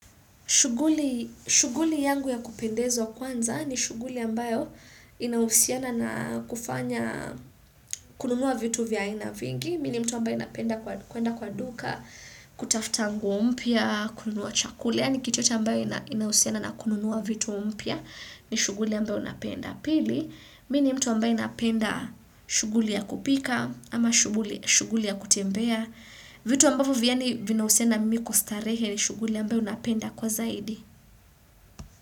Shughuli yangu ya kupendezwa kwanza ni shughuli ambayo inahusiana na kufanya kununua vitu vya aina vingi. Mi ni mtu ambaye napenda kuenda kwa duka, kutafuta nguo mpya, kununua chakula. Yaani kitu yoyote ambayo ina inahusiana na kununua vitu mpya ni shughuli ambayo napenda. Pili, mi ni mtu ambaye napenda shughuli ya kupika ama shughuli shughuli ya kutembea. Vitu ambayo vyani vinahusiana mimi kustarehe ni shughuli ambayo napenda kwa zaidi.